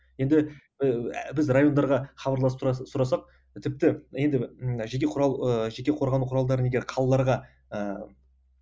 енді ііі біз райондарға хабарласып сұрасақ тіпті енді жеке құрал і жеке қорғану құралдарын егер қалаларға ыыы